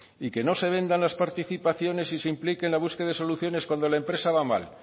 y que no se vendan las participaciones y se implique en la búsqueda de soluciones cuando la empresa va mal